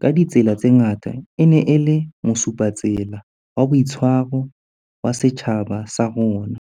ka ditsela tse ngata, e neng e le mosupatsela wa boitshwaro wa setjhaba sa rona.